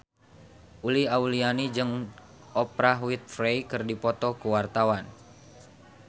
Uli Auliani jeung Oprah Winfrey keur dipoto ku wartawan